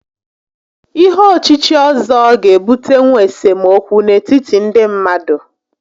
Ihé ochíchí ọ́zọ́ ga-ebutenwu esemokwu n'etiti ndị mmadụ